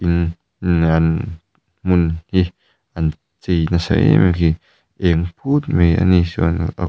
hmun hi an chei nasa em a khi eng put mai ani chuan--